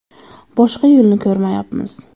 Boshqa yo‘lni ko‘rmayapmiz.